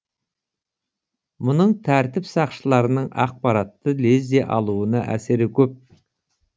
мұның тәртіп сақшыларының ақпаратты лезде алуына әсері көп